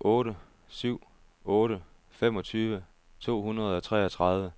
otte syv otte femogtyve to hundrede og treogtredive